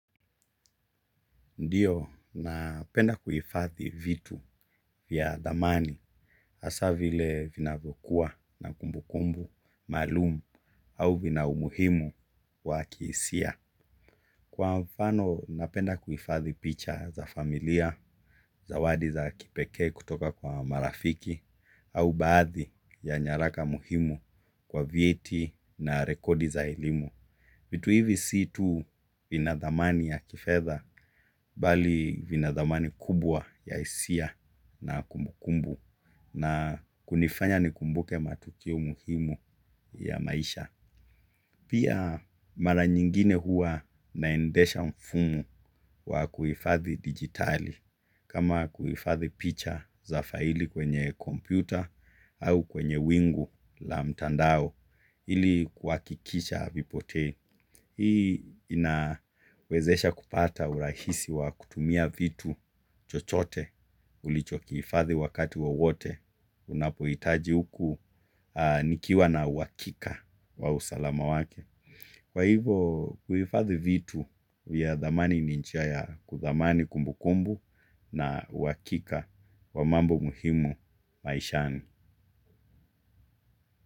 Ndiyo, napenda kuifathi vitu vya thamani hasa vile vinavokua na kumbu kumbu maalum, au vina umuhimu wa kiisia. Kwa mfano, napenda kuifathi picha za familia, zawadi za kipekee kutoka kwa marafiki, au baathi ya nyaraka muhimu kwa vyeti na rekodi za elimu. Vitu hivi si tu vina thamani ya kifedha bali vina thamani kubwa ya isia na kumbukumbu na kunifanya nikumbuke matukio muhimu ya maisha. Pia mara nyingine huwa naendesha mfumo wa kuifathi digitali kama kuifathi picha za faili kwenye kompyuta au kwenye wingu la mtandao ili kuakikisha havipotei. Hii inawezesha kupata urahisi wa kutumia vitu chochote ulichokiifadhi wakati wowote unapoitaji uku nikiwa na uakika wa usalama wake. Kwa hivo kuifadhi vitu vya dhamani ni njia ya kudhamani kumbukumbu na uakika wa mambo muhimu maishani.